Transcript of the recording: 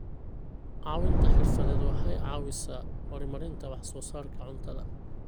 Caawinta xirfadeed waxay caawisaa horumarinta wax soo saarka cuntada.